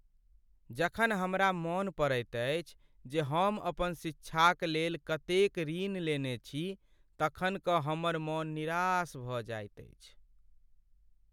जखन हमरा मन पड़ैत अछि जे हम अपन शिक्षाकलेल कतेक ऋण लेने छी तखन कऽ हमर मन निराश भऽ जाइत अछि।